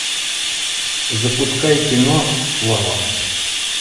запускай кино слава